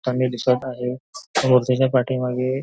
पाणी दिसत आहेत व त्याच्या पाठीमागे--